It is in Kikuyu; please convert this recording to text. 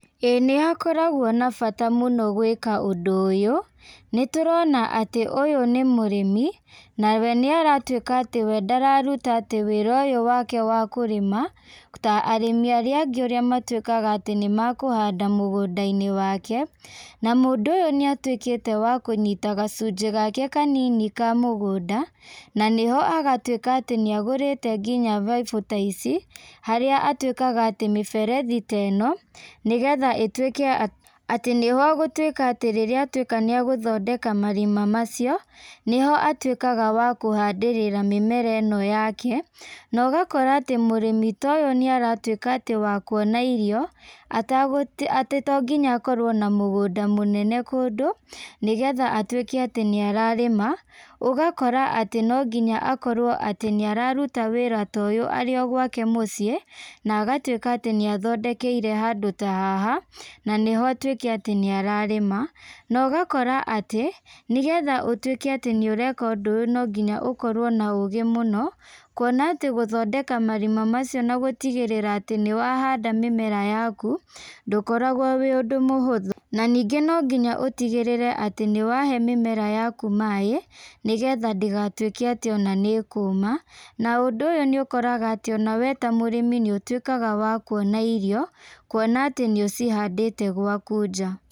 Ĩĩ nĩhakoragwo na bata mũno gwĩka ũndũ ũyũ, nĩtũrona atĩ ũyũ nĩmũrĩmi, nawe nĩaratuĩka atĩ we ndararuta atĩ wĩra ũyũ wake wa kũrĩma, ta arĩmi arĩa angĩ ũrĩa matuĩka atĩ nĩmakũhanda mũgũndainĩ wake, na mũndũ ũyũ nĩatuĩkĩte wa kũnyita gacunjĩ gake kanini ka mũgũnda, na nĩho agatuĩka atĩ nĩagũrĩte nginya baibũ ta ici, harĩa atuĩkaga atĩ mĩberethi ta ĩno, nĩgetha ĩtuĩke atĩ nĩho ũgũtuĩka atĩ rĩrĩa atuĩka atĩ nĩagũthondeka marima macio, nĩho atuĩkaga wa kũhandĩrĩra mĩmera ĩno yake, na ũgakora atĩ mũrimi ta ũyũ nĩaratuĩka atĩ wa kuona irio, atagũ atĩ tonginya akorwo na mũgũnda mũnene kũndũ, nĩgetha atuĩke atĩ nĩararĩma, ũgakora atĩ no nginya akorwo atĩ nĩararuta wĩra ta ũyũ arĩ o gwake mũciĩ, na agatuĩka atĩ nĩathondekeire handũ ta haha, na nĩho atuĩke atĩ nĩararĩma, na ũgakora atĩ, nĩgetha ũtuĩke atĩ nĩũreka ũndũ ũyũ noginya ũkorwo na ũgĩ mũno, kuona atĩ gũthondeka marima macio na gũtigĩrĩra atĩ nĩwahanda mĩmera yaku, ndukoragwo wĩ ũndũ mũhũthu, na nĩngĩ nonginya ũtigĩrĩre atĩ nĩwahe mĩmera yaku maĩ, nĩgetha ndĩgatuĩke atĩ ona nĩkũma, na ũndũ ũyũ nĩũkoraga atĩ onawe ta mũrĩmi nĩ ũtuĩkaga wa kuona irio, kuona atĩ nĩũcihandĩte gwaku nja.